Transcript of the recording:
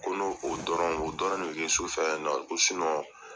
Ko n'o o dɔrɔn o dɔrɔn de bɛ kɛ sufɛ yan nɔn ko